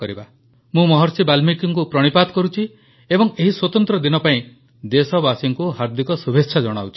ମୁଁ ମହର୍ଷି ବାଲ୍ମୀକିଙ୍କୁ ପ୍ରଣିପାତ କରୁଛି ଏବଂ ଏହି ସ୍ୱତନ୍ତ୍ର ଦିନ ପାଇଁ ଦେଶବାସୀଙ୍କୁ ହାର୍ଦିକ ଶୁଭେଚ୍ଛା ଜଣାଉଛି